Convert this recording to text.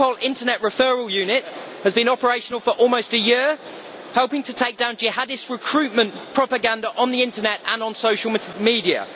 The Europol Internet Referral Unit has been operational for almost a year, helping to take down Jihadist recruitment propaganda on the internet and on social media.